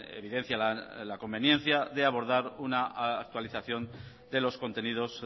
evidencia la conveniencia de abordar una actualización de los contenidos